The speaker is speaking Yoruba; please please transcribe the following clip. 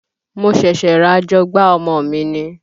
Mo ṣẹ̀ṣẹ̀ ra àjọgbá ọmọ mi ni